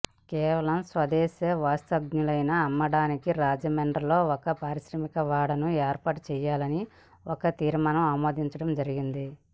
కేవలం స్వదేశీ వస్తువ్ఞలు అమ్మడానికి రాజమండ్రిలో ఒక పారిశ్రామికవాడను ఏర్పాటు చేయాలని ఒక తీర్మానం ఆమోదించడం జరిగింది